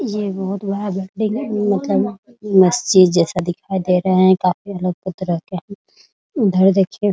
ये बहुत बड़ा बिल्डिंग मतलब मस्जिद जैसा दिखाई दे रहा है । उधर देखिए --